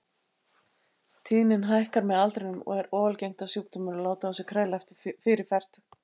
Tíðnin hækkar með aldrinum og er óalgengt að sjúkdómurinn láti á sér kræla fyrir fertugt.